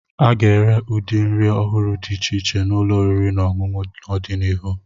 A ga-ere ụdị nri ọhụrụ dị iche iche n'ụlọ oriri na ọṅụṅụ n'ọdịnihu.